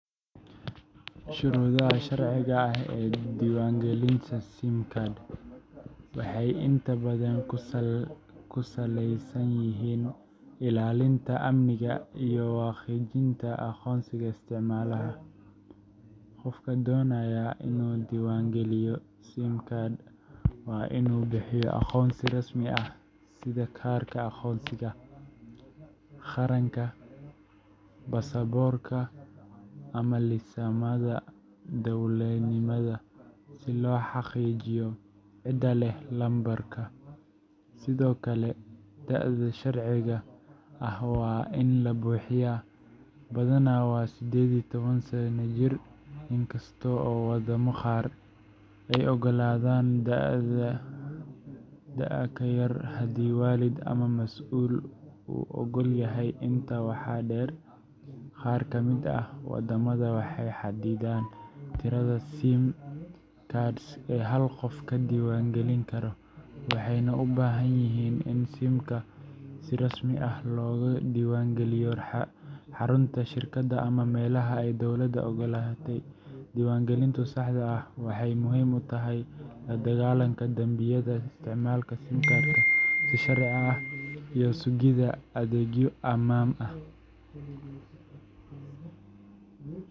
Shuruudaha sharciga ah ee diiwaangelinta SIM card waxay inta badan ku saleysan yihiin ilaalinta amniga iyo xaqiijinta aqoonsiga isticmaalaha. Qofka doonaya inuu diiwaangeliyo SIM card waa inuu bixiyo aqoonsi rasmi ah sida kaarka aqoonsiga qaranka, baasaboorka, ama liisamada darawalnimada si loo xaqiijiyo cidda leh lambarka. Sidoo kale, da’da sharciga ah waa in la buuxiyaa badanaa waa sided iyo toban sano jir, inkasta oo waddamo qaar ay oggolaadaan da’ ka yar haddii waalid ama mas’uul uu oggol yahay. Intaa waxaa dheer, qaar ka mid ah waddamada waxay xaddidaan tirada SIM cards ee hal qof ka diiwaangelin karo, waxayna u baahan yihiin in SIM-ka si rasmi ah looga diiwaangeliyo xarunta shirkadda ama meelaha ay dowladda oggolaatay. Diiwaangelinta saxda ah waxay muhiim u tahay la-dagaallanka dambiyada, isticmaalka SIM card-ka si sharci ah, iyo sugidda adeegyo ammaan ah.